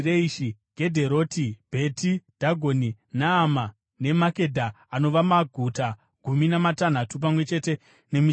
Gedheroti, Bheti Dhagoni, Naama, neMakedha anova maguta gumi namatanhatu pamwe chete nemisha yawo.